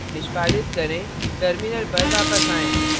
निष्पादित करें terminal पर वापस आएँ